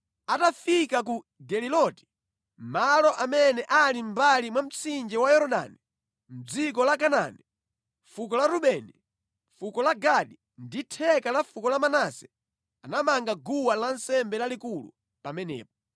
Atafika ku Geliloti, malo amene ali mʼmbali mwa mtsinje wa Yorodani mʼdziko la Kanaani, fuko la Rubeni, fuko la Gadi ndi theka la fuko la Manase anamanga guwa lansembe lalikulu pamenepo.